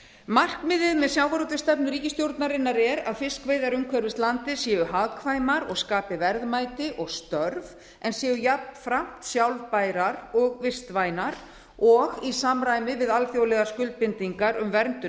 markmiðið með sjávarútvegsstefnu ríkisstjórnarinnar er að fiskveiðar umhverfis landið séu hagkvæmar og skapi verðmæti og störf en séu jafnframt sjálfbærar og vistvænar og í samræmi við alþjóðlegar skuldbindingar um verndun